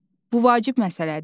Bu vacib məsələdir.